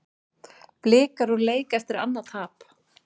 Blikar úr leik eftir annað tap